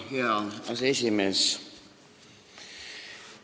Hea aseesimees!